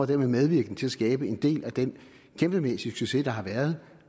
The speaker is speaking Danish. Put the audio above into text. dermed medvirkende til at skabe en del af den kæmpemæssige succes der har været